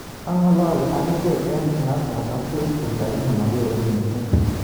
Angalali ak echeek eng snapchat ak facebook lakini mageere missing